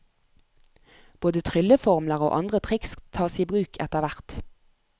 Både trylleformler og andre triks tas i bruk etterhvert.